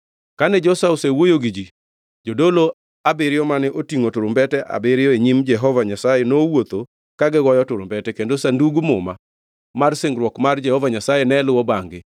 Kane Joshua osewuoyo gi ji, jodolo abiriyo mane otingʼo turumbete abiriyo e nyim Jehova Nyasaye nowuotho ka gigoyo turumbete, kendo Sandug Muma mar Singruok mar Jehova Nyasaye ne luwo bangʼ-gi.